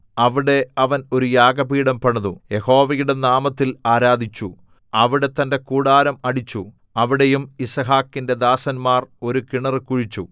അവിടെ അവൻ ഒരു യാഗപീഠം പണിതു യഹോവയുടെ നാമത്തിൽ ആരാധിച്ചു അവിടെ തന്റെ കൂടാരം അടിച്ചു അവിടെയും യിസ്ഹാക്കിന്റെ ദാസന്മാർ ഒരു കിണറ് കുഴിച്ചു